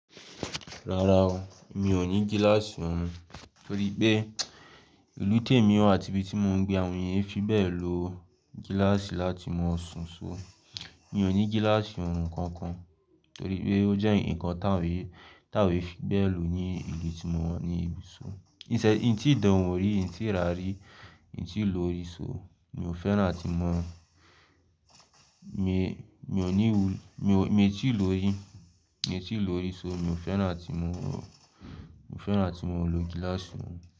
Rárá o, mi ò ní gíláàsì ọ̀hún torí pé ìlú tèmi àti ibi tí mò ń gbé àwọn ènìyàn fi bẹ́ẹ̀ lo gíláàsì láti mọ́ ọ̀hún ṣó. Mi ò ní gíláàsì ọ̀hún kankan torí pé ó jẹ́ ǹkan tá awa é fi bẹ́ẹ̀ lò ní ìlú tí mò wà ní ibi ìṣò. Níṣẹ́, ì tí dà ọ́n ò rí, ì tí rà á rí, ì tí lò ó rí ṣó. Mi ò fẹ́ràn tí mò ń, mi ò ní, mi ò tíì lò ó rí, mi ò tíì lò ó rí ṣó, mi ò fẹ́ràn tí mò ń lò gíláàsì ọ̀hún.